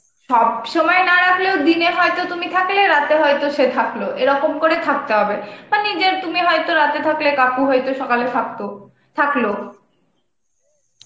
সব সময় না রাখলেও দিনে হয়তো তুমি থাকলে রাতে হয়তো সে থাকলো, এরকম করে থাকতে হবে. মানে যে তুমি হয়তো রাতে থাকলে কাকু হয়তো সকালে থাকতো, থাকলো.